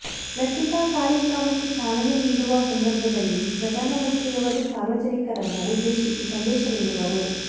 ಲಸಿಕಾ ಕಾರ್ಯಕ್ರಮಕ್ಕೆ ಚಾಲನೆ ನೀಡುವ ಸಂದರ್ಭದಲ್ಲಿ ಪ್ರಧಾನಮಂತ್ರಿಯವರು ಸಾರ್ವಜನಿಕರನ್ನು ಉದ್ದೇಶಿಸಿ ಸಂದೇಶ ನೀಡುವರು